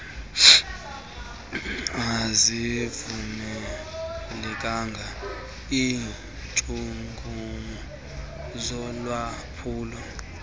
azivumelekanga iintshukumo zolwaphulo